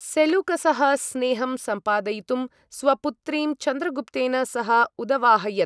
सेलूकसः स्नेहं सम्पादयितुं स्वपुत्रीं चन्द्रगुप्तेन सह उदवाहयत्।